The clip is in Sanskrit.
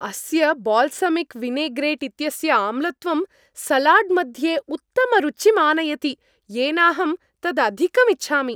अस्य बाल्सामिक् विनेग्रेट् इत्यस्य आम्लत्वं सलाड्मध्ये उत्तमरुचिं आनयति, येनाहम् तदधिकम् इच्छामि।